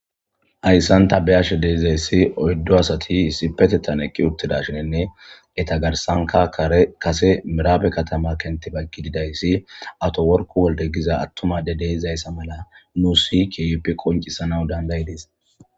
Hayssan ta biyashe deizayssi oyddo asati issipetetan ekki uttida shinnne eta garsanka ekase miraabe katama kenti bayggi gidayssi ato worku wolde giza attumade deeizayssa mala nuu si kiyippi qoncisana dandayides.